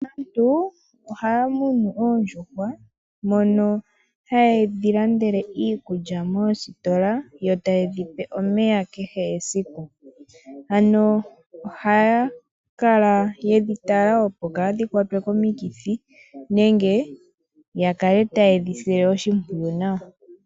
Aantu ohaya munu oondjuhwa mono haye dhi landele iikulya moositola yo taye dhi pe omeya kehe esiku. Ano ohaya kala ye dhi tala opo kadhi kwatwe komikithi, nenge ya kale taye dhi sile oshimpwiyu nawa.